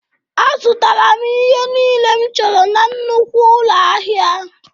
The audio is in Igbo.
Azụtara m ihe niile m chọrọ na nnukwu ụlọ ahịa